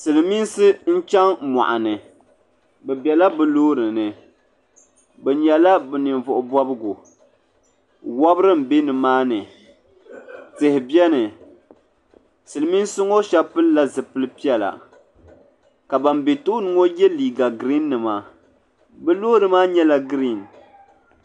Silimiinsi n chaŋ moɣuni bɛ biɛla bɛ loori ni bɛ nyɛla bɛ ninvuɣu bobgu wobri m be nimaani tihi biɛni silimiinsi ŋɔ sheba pilila zipili piɛla ka ban be tooni ŋɔ ye liiga girin nima bɛ loori maa nyɛla girin.